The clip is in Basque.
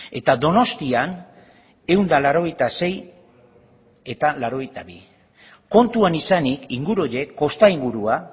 eta donostian ehun eta laurogeita sei mila laurogeita bi kontutan izanik inguru horiek kosta ingurua